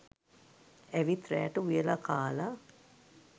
ඇවිත් රෑට උයලා කාලා